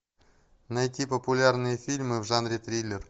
найти популярные фильмы в жанре триллер